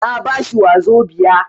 Na ba shi wazobia.